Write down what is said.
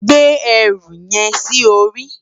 Gbé èrú yèn si óri